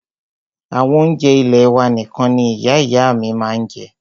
Àwọn oúnjẹ ilẹ́ wà nìkan ní Ìyá ìyá à mí ma ń jẹ́.